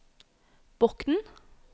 Bokn